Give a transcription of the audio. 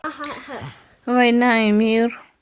война и мир